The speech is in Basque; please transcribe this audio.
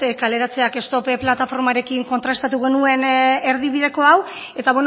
kaleratzeak stop plataformarekin kontrastatu genuen erdibideko hau eta